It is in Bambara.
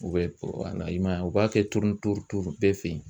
U bɛ i man ye u b'a kɛ bɛɛ fɛ ye.